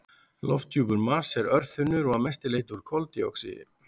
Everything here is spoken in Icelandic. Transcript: Lofthjúpur Mars er örþunnur og að mestu leyti úr koldíoxíði.